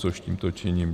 Což tímto činím.